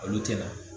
Olu tɛ na